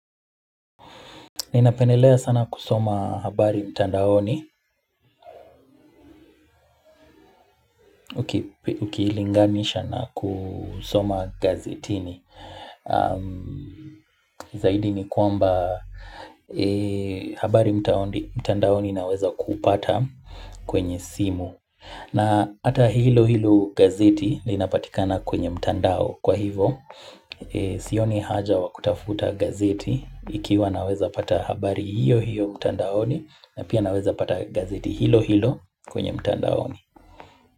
Ninapendelea sana kusoma habari mtandaoni ukilinganisha na kusoma gazetini. Zaidi ni kwamba habari mtandaoni naweza kuupata kwenye simu na hata hilo hilo gazeti linapatikana kwenye mtandao kwa hivyo Sioni haja wa kutafuta gazeti ikiwa naweza pata habari hiyo hiyo mtandaoni na pia naweza pata gazeti hilo hilo kwenye mtandao.